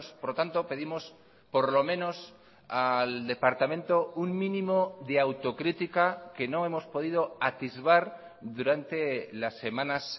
por lo tanto pedimos por lo menos al departamento un mínimo de autocrítica que no hemos podido atisbar durante las semanas